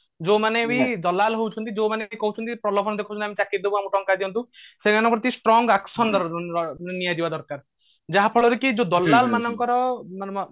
ଯୌମାନେ ବି ଦଲାଲ୍ ହଉଛନ୍ତି ଯେଉମାନେ କି କହୁଛନ୍ତି ପ୍ରଲୋଭନ ଦେଖୋଉଛନ୍ତି ଆମେ ଚାକିରି ଦେବୁ ଆମକୁ ଟଙ୍କା ଦିଅନ୍ତୁ ସେଇମାନଙ୍କ ପ୍ରତି strong action ଇ ନିଆଯିବା ଦରକାର ଯାହାଫଳରେ କି ଦଲାଲ ମାନଙ୍କର ମାନେ